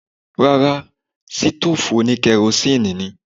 Rárá, sítòòfù oní kerosíínì ni.